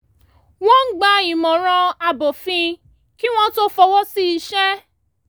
wọ́n ń gba ìmọ̀ràn abófin kí wọ́n tó fọwọ́ sí iṣẹ́